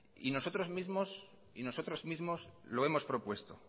y nosotros mismo lo hemos propuesto